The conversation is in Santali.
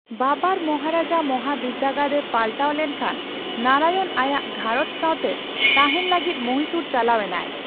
ᱵᱟᱵᱟᱨ ᱢᱚᱦᱟᱨᱟᱡᱟ ᱢᱚᱦᱟᱵᱤᱫᱽᱜᱟᱲ ᱨᱮ ᱯᱟᱞᱴᱟᱣ ᱞᱮᱱᱠᱷᱟᱱ ᱱᱟᱨᱟᱭᱚᱱ ᱟᱭᱟᱜ ᱜᱷᱟᱨᱚᱧᱡ ᱥᱟᱸᱣᱛᱮ ᱛᱟᱸᱦᱮᱱ ᱞᱟᱹᱜᱤᱫ ᱢᱚᱦᱤᱥᱩᱨ ᱪᱟᱞᱟᱣ ᱮᱱᱟᱭ ᱾